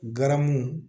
Garamu